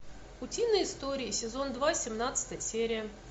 утиные истории сезон два семнадцатая серия